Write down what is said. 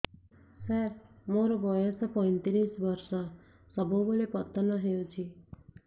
ସାର ମୋର ବୟସ ପୈତିରିଶ ବର୍ଷ ସବୁବେଳେ ପତନ ହେଉଛି